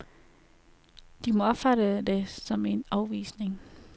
De må opfatte det som en afvisning.